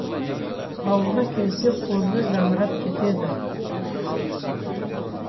ауылға келсе қозы жамырап кетеді